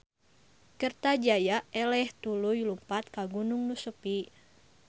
Kertajaya eleh tuluy lumpat ka gunung nu sepi